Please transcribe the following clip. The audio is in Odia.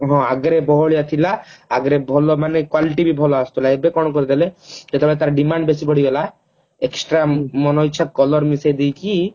ଆଗରେ ବହଳିଆ ଥିଲା ଆଗଲରେ ଭଲ ମାନେ quality ବି ଭଲ ଆସୁଥିଲା ଏବେ କଣ କରିଦେଲେ ଯେତେବେଳେ ତାର demand ବେଶୀ ବଢିଗଲା extra ମନ ଇଚ୍ଛା color ମିଶେଇଦେଇକି